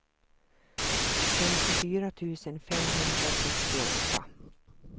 femtiofyra tusen femhundrasextioåtta